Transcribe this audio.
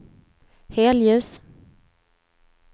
helljus